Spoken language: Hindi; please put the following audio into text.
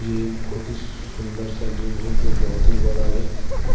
एक बहुत ही सुंदर सा जिम है जो बहुत ही बड़ा है